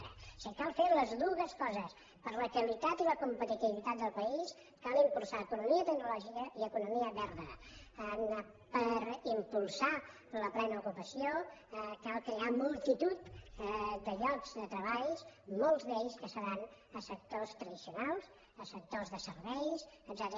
o sigui cal fer les dues coses per la qualitat i la competitivitat del país cal impulsar economia tecnològica i economia verda per impulsar la plena ocupació cal crear multitud de llocs de treball que molts d’ells seran a sectors tradicionals a sectors de serveis etcètera